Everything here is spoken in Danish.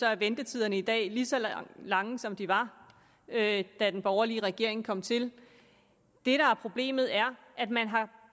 er ventetiderne i dag lige så lange som de var da da den borgerlige regering kom til det der er problemet er at man har